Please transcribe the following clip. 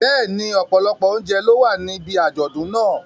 Bẹ́ẹ̀ni, ọ̀pọ̀lọpọ̀ oúnjẹ ló wà níbi àjọ̀dún náà.